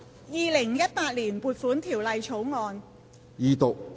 《2018年撥款條例草案》。